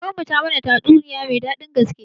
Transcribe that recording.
Kakanmu ta mana tatsuniya mai daɗin gaske.